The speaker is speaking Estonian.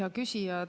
Hea küsija!